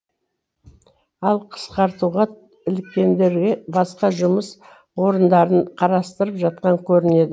ал қысқартуға іліккендерге басқа жұмыс орындарын қарастырып жатқан көрінеді